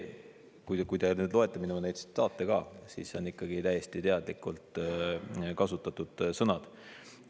Kui te loete neid minu tsitaate, siis need on ikkagi täiesti teadlikult kasutatud sõnad.